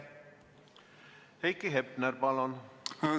Heiki Hepner, palun!